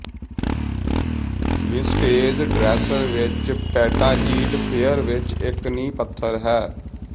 vintage dresser ਇਸ petite fair ਵਿੱਚ ਇੱਕ ਨੀਂਹ ਪੱਥਰ ਹੈ